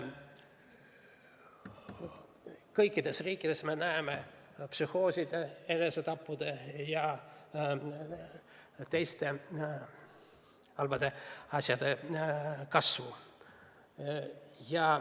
Me näeme kõikides riikides psühhooside, enesetappude ja teiste halbade asjade kasvu.